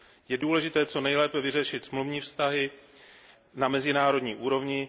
Je důležité co nejlépe vyřešit smluvní vztahy na mezinárodní úrovni